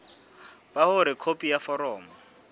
ba hore khopi ya foromo